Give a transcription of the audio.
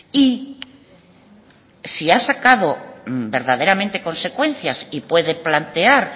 y si ha sacado verdaderamente consecuencias y puede plantear